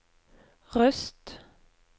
Røst